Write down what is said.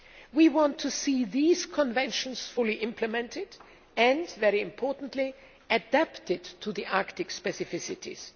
We want to see these conventions fully implemented and, very importantly, adapted to the Arctic specificities.